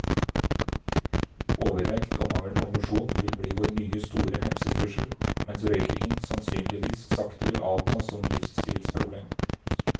Overvekt og mangel på mosjon vil bli vår nye store helsetrussel, mens røykingen sannsynligvis sakte vil avta som livsstilsproblem.